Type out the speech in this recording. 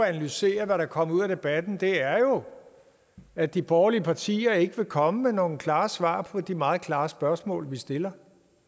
at analysere hvad der kommer ud af debatten er jo at de borgerlige partier ikke vil komme med nogen klare svar på de meget klare spørgsmål vi stiller